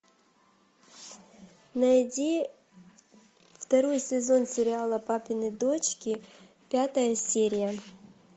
найди второй сезон сериала папины дочки пятая серия